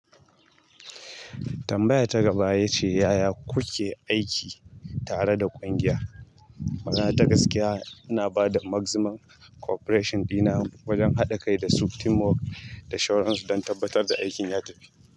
Tambaya ta gaba ya ce yaya kuke aiki tare da ƙungiya? Magana ta gaskiya, ina ba da maximum cooperation dina wajen haɗa kai da su, teamwork da surance don tabbatar da aikin ya tafi.